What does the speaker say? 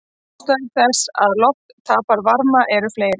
Ástæður þess að loft tapar varma eru fleiri.